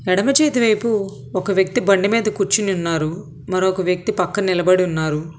ఎడమ చేతి వైపు ఒక వ్యక్తి బండి మీద కూర్చుని ఉన్నారు మరొక వ్యక్తి పక్కన నిలబడి ఉన్నారు.